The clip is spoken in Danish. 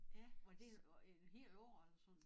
Ja og vel var et helt år eller sådan